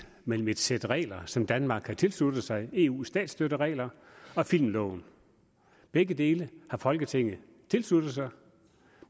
mellem et sæt regler som danmark har tilsluttet sig eus statsstøtteregler og filmloven begge dele har folketinget tilsluttet sig